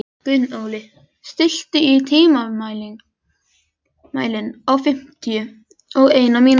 Gunnóli, stilltu tímamælinn á fimmtíu og eina mínútur.